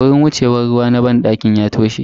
Wurin wucewan ruwa a banɗakin ya toshe.